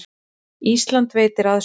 Ísland veitir aðstoð